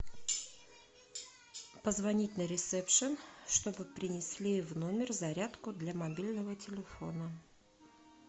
позвонить на ресепшн чтобы принесли в номер зарядку для мобильного телефона